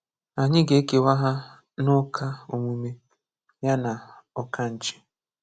Anyị ga-ekewa ha n'uka omume, ya na ụkanchi.